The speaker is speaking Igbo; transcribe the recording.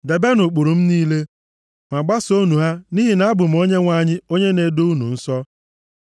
Debenụ ụkpụrụ m niile, ma gbasoonụ ha nʼihi na abụ m Onyenwe anyị onye na-edo unu nsọ.